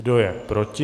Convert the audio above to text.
Kdo je proti?